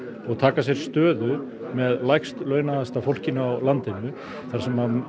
og taka sér stöðu með lægst launaðasta fólkinu á landinu þar sem